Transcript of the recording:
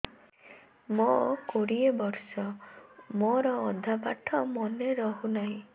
ମୋ କୋଡ଼ିଏ ବର୍ଷ ମୋର ଅଧା ପାଠ ମନେ ରହୁନାହିଁ